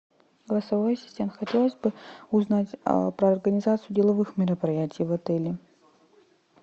голосовой ассистент хотелось бы узнать про организацию деловых мероприятий в отеле